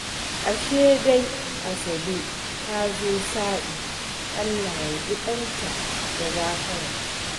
Ashe dai Asabe ta zo sa'i. Allah ya ji ƙanta da gafara